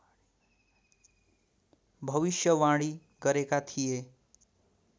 भविष्यवाणी गरेका थिए